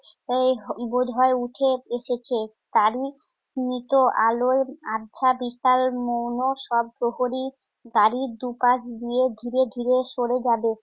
এই বোধহয় উঠে এসেছে। তারই স্মিত আলোয় আবছা বিশাল মৌন শব্দহরি গাড়ির দুপাশ দিয়ে ধীরে ধীরে সরে যাবে।